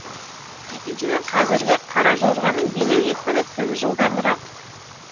екіншіден қазіргі қаражорғаның билеу екпіні тым жылдамырақ